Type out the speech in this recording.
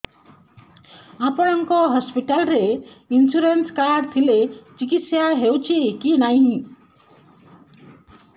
ଆପଣଙ୍କ ହସ୍ପିଟାଲ ରେ insurance card ଥିଲେ ଚିକିତ୍ସା ହେଉଛି କି ନାଇଁ